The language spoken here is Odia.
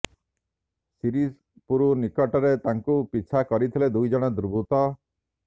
ଶିରିପୁର ନିକଟରେ ତାଙ୍କୁ ପିଛା କରିଥିଲେ ଦୁଇ ଜଣ ଦୁର୍ବୃତ